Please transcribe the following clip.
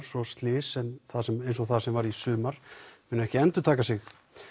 svo slys sem það sem það sem varð í sumar muni ekki endurtaka sig